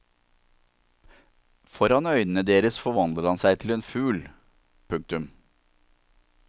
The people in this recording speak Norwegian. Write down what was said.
Foran øynene deres forvandler han seg til en fugl. punktum